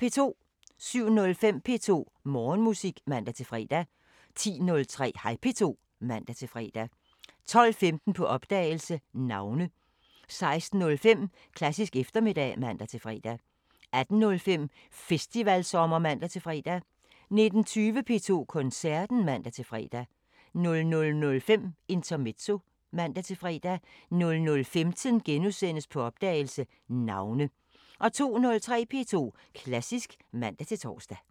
07:05: P2 Morgenmusik (man-fre) 10:03: Hej P2 (man-fre) 12:15: På opdagelse – Navne 16:05: Klassisk eftermiddag (man-fre) 18:05: Festivalsommer (man-fre) 19:20: P2 Koncerten (man-fre) 00:05: Intermezzo (man-fre) 00:15: På opdagelse – Navne * 02:03: P2 Klassisk (man-tor)